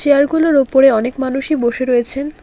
Chair -গুলোর ওপরে অনেক মানুষই বসে রয়েছেন।